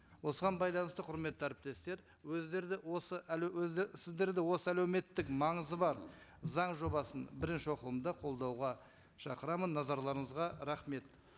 осыған байланысты құрметті әріптестер өздері де осы өзі сіздерді осы әлеуметтік маңызы бар заң жобасын бірінші оқылымда қолдауға шақырамын назарларыңызға рахмет